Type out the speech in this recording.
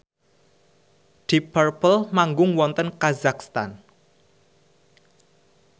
deep purple manggung wonten kazakhstan